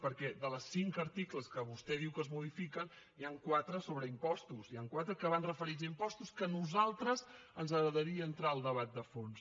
perquè dels cinc articles que vostè diu que es modifiquen n’hi han quatre sobre impostos n’hi han quatre que van referits a impostos que a nosaltres ens agradaria entrar al debat de fons